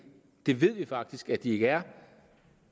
det ved vi faktisk at de ikke er